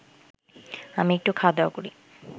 আমি একটু খাওয়া দাওয়া করি